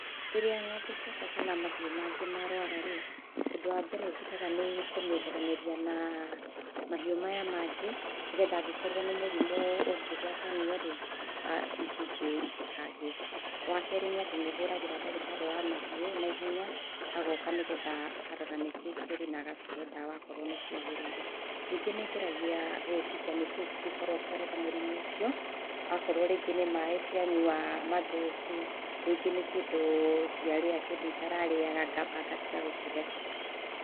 Rĩrĩa ng'ombe ciakwa kana mahiũ mangĩ marũara rĩ, ũndũ wa mbere njĩkaga nĩ kũmeeharanĩria na mahiũ maya mangĩ, nĩgetha angĩkorwo nĩ mũrimũ ũngĩgwatanio rĩ, ici ingĩ itikagĩe. Wa kerĩ nĩ atĩ nĩ hũragĩra ndagĩtarĩ wa mahiũ naihenya, agoka nĩgetha akarora nĩkĩĩ kĩũru na agacihe ndawa akoro nĩ ciagĩrĩire. Ningĩ nĩ ngeragia gwĩciria nĩkĩĩ kĩngĩkorwo kĩarehe mũrimũ ũcio, akorwo rĩngĩ nĩ maaĩ cianyua mathũku, rĩngĩ nĩ kĩndũ ciarĩa, kĩndũ itara rĩaga ngamba ngatiga gũcihe.